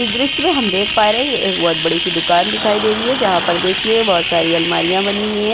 इस दृश्य में हम देख पा रहे ये एक बोहोत बड़ी सी दुकान दिखाई दे रही है जहां पर देखिए बोहोत सारी अलमारियां बनी हुई है।